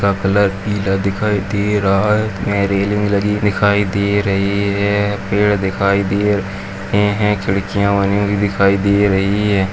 का कलर पीला दिखाई दे रहा है यहां रैलिंग लगी दिखाई दे रही है पेड़ दिखाई दे रहे हैं खिड़कियां बनी हुई दिखाई दे रही हैं।